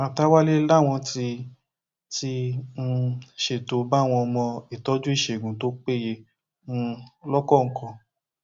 màtáwalle làwọn ti ti um ṣètò báwọn ọmọ ìtọjú ìṣègùn tó péye um lọkọọkan